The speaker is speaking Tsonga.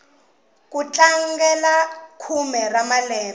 ku tlangela khume ra malembe